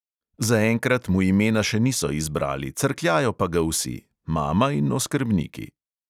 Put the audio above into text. Zaenkrat mu imena še niso izbrali, crkljajo pa ga vsi – mama in oskrbniki.